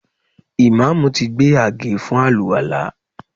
Ìmáàmù ti gbé àgé fún àlùwàlá